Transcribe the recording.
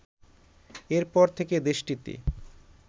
এরপর থেকে দেশটিতে